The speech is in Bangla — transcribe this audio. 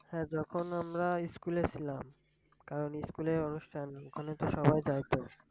হ্যাঁ যখন আমরা ইস্কুলে ছিলাম কারন ইস্কুলের অনুষ্ঠান ওখানে তো সবাই যায় তো।